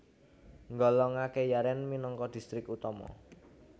nggolongaké Yaren minangka distrik utama